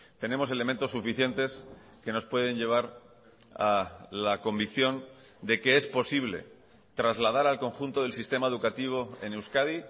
tenemos elementos suficientes que nos pueden llevar a la convicción de que es posible trasladar al conjunto del sistema educativo en euskadi